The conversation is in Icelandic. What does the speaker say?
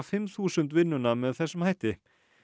fimm þúsund vinnuna með þessum hætti